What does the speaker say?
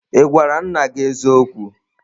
Ị gwara nna gị eziokwu?